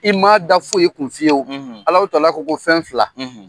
I ma da foyi kun fiye, , Alahu tala ko ko fɛn fila, .